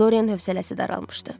Doryan hövsələsi daralmışdı.